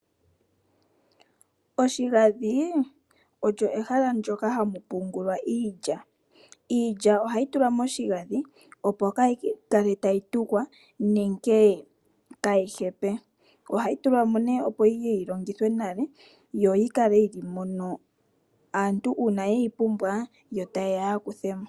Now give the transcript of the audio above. Oshigadhi olyo ehala ndjoka hali pungulwa iilya. Iilya ohayi tulwa moshogadhi opo kayi kale tayi tukwa nenge kaayi hepe, ohayi tulwa mo neh opo yiye yi longithwe nale yo yi kale yili mono ngele aantu ye yi pumbwa ta ye ya yakuthemo .